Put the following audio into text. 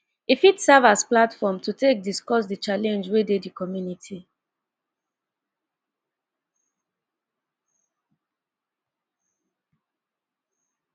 e fit serve as platform to take discuss di challenge wey dey di community